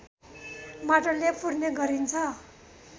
माटोले पुर्ने गरिन्छ